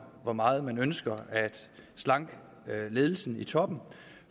hvor meget man ønsker at slanke ledelsen i toppen